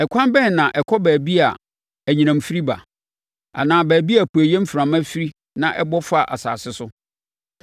Ɛkwan bɛn na ɛkɔ baabi a anyinam firi ba, anaa baabi a apueeɛ mframa firi na ɛbɔ fa asase so?